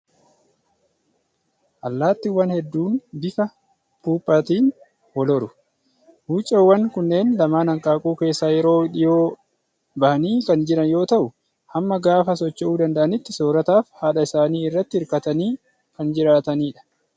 Allaattiiwwan hedduun bifa puuphaatiin wal horu. Wucoowwan kunneen lamaan hanqaaquu keessaa yeroo dhiyoo bahanii kan jiran yoo ta'u, hamma gaafa socho'uu danda'aniitti soorataaf haadha isaanii irratti hirkatanii kan jiraatani dha.